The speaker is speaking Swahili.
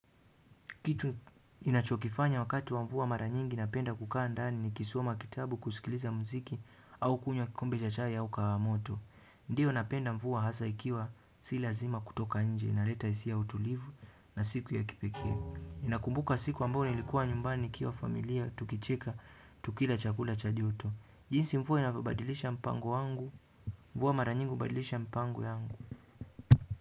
Kitu ninachokifanya wakati wa mvua mara nyingi napenda kukaa ndani nikisoma kitabu kusikiliza mziki au kunywa kikombe cha chai au kahawa moto. Ndiyo napenda mvua hasa ikiwa si lazima kutoka nje inaleta hisia ya utulivu na siku ya kipekee. Ninakumbuka siku ambayo ilikuwa nyumbani nikiwa familia tukicheka tukila chakula cha joto. Jinsi mvua inavyobadilisha mpango wangu, mvua mara nyingi hubadilisha mipango yangu.